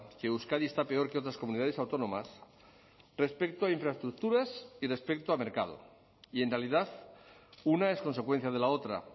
que euskadi está peor que otras comunidades autónomas respecto a infraestructuras y respecto a mercado y en realidad una es consecuencia de la otra